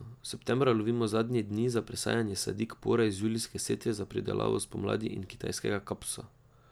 Septembra lovimo zadnje dni za presajanje sadik pora iz julijske setve za pridelavo spomladi in kitajskega kapusa.